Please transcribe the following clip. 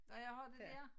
Når jeg har det dér